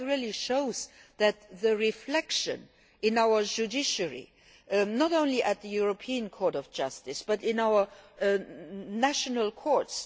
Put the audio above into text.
that really shows the reflection in our judiciary, not only at the European Court of Justice, but in our national courts.